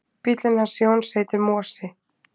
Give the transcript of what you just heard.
Bíllinn hans Jóns heitir Mosi.